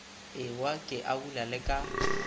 ewa ke abula le ka